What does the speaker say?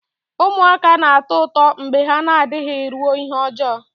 Ụmụaka na-atọ ụtọ mgbe ha na-adịghị ruo ihe ọjọọ